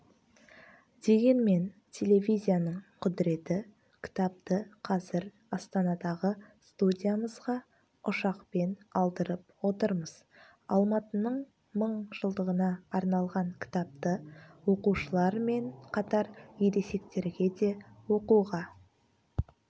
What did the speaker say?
дегенмен телевизияның құдіреті кітапты қазір астанадағы студиямызға ұшақпен алдырып отырмыз алматының мың жылдығына арналған кітапты оқушылар мен қатар ересектерге де оқуға